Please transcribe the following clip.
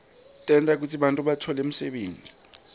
tenta kutsi bantfu batfole umsebenti